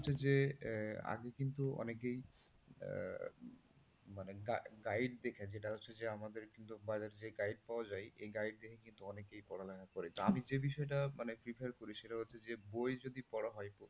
হচ্ছে যে আগে কিন্তু অনেকেই মানে guide দেখে যেটা হচ্ছে যে আমাদের যে guide পাওয়া যায় এই guide দেখেই কিন্তু অনেকেই পড়ালেখা করে। আমি যদি সেটা মানে prefer করি সেটা হচ্ছে যে বই যদি পড়া হয়,